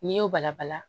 N'i y'o bala bala